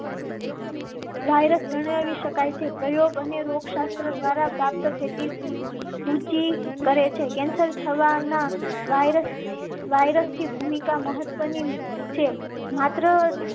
Virus ગણાવી શકાય છે. પ્રયોગો અને રોગ શાસ્ત્ર દ્વારા પ્રાપ્ત થતી સૂચિ કરેં છે. cancer થવા ના વાયરસ વાયરસ થી ભૂમિકા મહત્વની છે. માત્ર